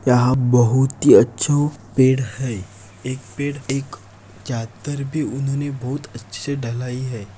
यहा बहुत ही अच्छू पेड़ है एक पेड़ एक जातर दर भी उन्होंने बहुत अच्छी डलाई है।